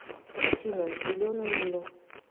афина зеленую милю